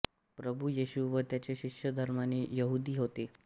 प्रभू येशू व त्याचे शिष्य धर्माने यहुदी होते